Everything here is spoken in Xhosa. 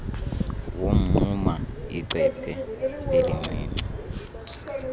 womnquma icephe elincinci